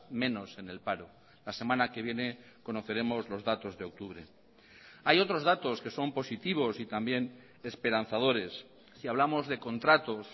menos en el paro la semana que viene conoceremos los datos de octubre hay otros datos que son positivos y también esperanzadores si hablamos de contratos